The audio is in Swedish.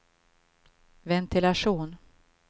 ventilation